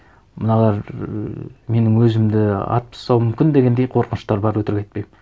мыналар ііі менің өзімді атып тастауы мүмкін дегендей қорқыныштар бар өтірік айтпаймын